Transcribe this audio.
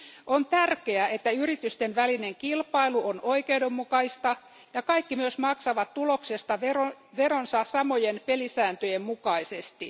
On tärkeää, että yritysten välinen kilpailu on oikeudenmukaista ja kaikki myös maksavat tuloksesta veronsa samojen pelisääntöjen mukaisesti.